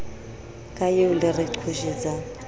ka eo le re qhoshetsang